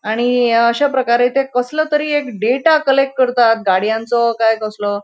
आणि अ अश्याप्रकारे ते कसलों तरी एक डेटा कलेक्ट करतात गडियांचो काय कसलो.